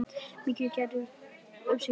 Mikið æði greip um sig.